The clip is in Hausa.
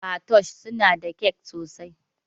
Patoosh suna da kyak sosai